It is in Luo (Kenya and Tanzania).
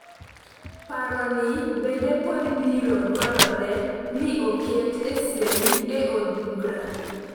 Paro ni bende pod biro dwarore ni oket e sei e od bura.